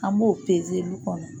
An b'o peze lu kɔnɔ